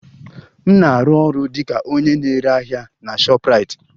M na-arụ ọrụ dị ka onye na-ere ahịa na shoprite